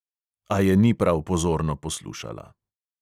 A je ni prav pozorno poslušala.